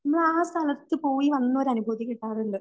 നമ്മളാ സ്ഥലത്ത് പോയി വന്നൊരു